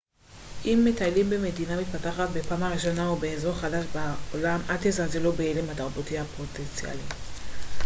אם מטיילים במדינה מתפתחת בפעם הראשונה או באזור חדש בעולם אל תזלזלו בהלם התרבותי הפוטנציאלי